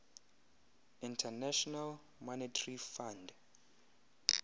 international monetary fund